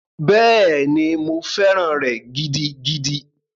Bẹ́ẹ̀ni, mo fẹ́ràn rẹ̀ gidigidi.